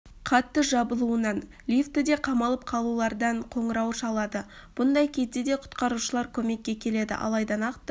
қатты жабылуынан лифтіде қамалып қалулардан қоңырау шалады бұндай кезде де құтқарушылар көмекке келеді алайда нақты